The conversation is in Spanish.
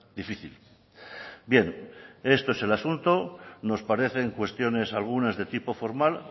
difícil bien este es el asunto nos parecen cuestiones algunas de tipo formal